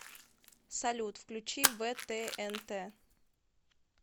салют включи вэ тэ эн тэ